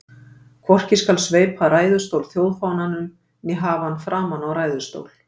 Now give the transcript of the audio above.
Hvorki skal sveipa ræðustól þjóðfánanum né hafa hann framan á ræðustól.